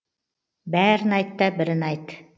бәрін айтта бірін айт